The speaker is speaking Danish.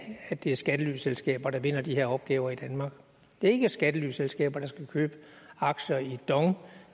at det er skattelyselskaber der vinder de her opgaver i danmark det er ikke skattelyselskaber der skal købe aktier i dong